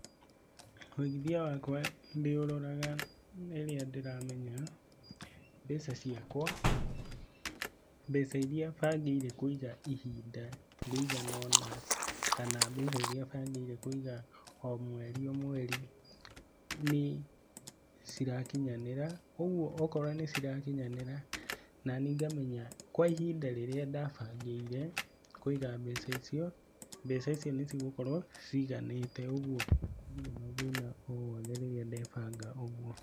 Wũigithia wakwa ndĩũroraga rĩrĩa ndĩramenya mbeca ciakwa, mbeca iria bangĩire kũiga ihinda rĩiganona kana mbeca iria bangĩire kũiga o mweri o mweri, nĩ cirakinyanĩra, kwoguo angĩkorwo nĩ cirakinyanĩra na niĩ ngamenya kwa ihinda rĩrĩa twabangĩire kũiga mbeca icio, mbeca icio nĩ cigũkorwo ciganĩte ũguo ndirĩ na thĩna o wothe rĩrĩa ndebanga ũguo.